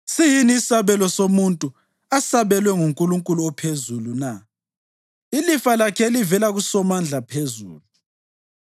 Siyini isabelo somuntu asabelwe nguNkulunkulu ophezulu na, ilifa lakhe elivela kuSomandla phezulu?